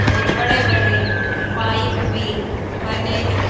और बड़े बड़े पाइप भी बने हैं।